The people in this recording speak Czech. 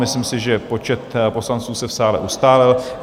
Myslím si, že počet poslanců se v sále ustálil.